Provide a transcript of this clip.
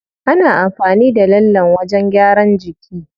Ana amfani da lallen wajen gyaran jiki.